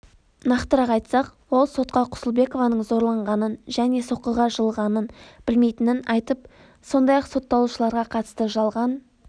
нақтырақ айтсақ ол сотқа құсылбекованың зорланғанын және соққыға жығылғанын білмейтінін айтып сондай-ақ сотталушыларға қатысты жалған